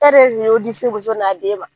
E de ye di se muso n'a den ma.